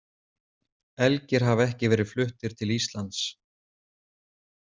Elgir hafa ekki verið fluttir til Íslands.